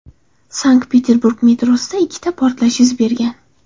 Sankt-Peterburg metrosida ikkita portlash yuz bergan.